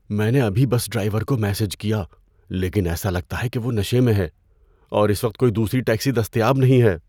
میں نے ابھی بس ڈرائیور کو میسج کیا لیکن ایسا لگتا ہے کہ وہ نشے میں ہے اور اس وقت کوئی دوسری ٹیکسی دستیاب نہیں ہے۔